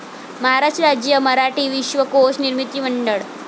महाराष्ट्र राज्य मराठी विश्वकोश निर्मिती मंडळ